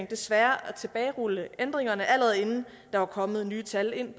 desværre at tilbagerulle ændringerne allerede inden der var kommet nye tal ind